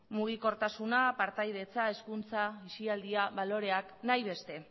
mugikortasuna partaidetza hezkuntza aisialdia baloreak nahi beste